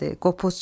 Qopuz çaldı.